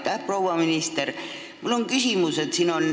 Aitäh, proua minister!